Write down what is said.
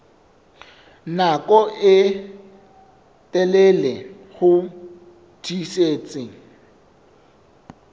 nako e telele ho tiisitse